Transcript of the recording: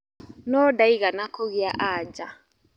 No ndaigana kũgĩa anja.